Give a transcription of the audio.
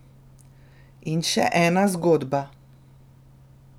In še ena zgodba.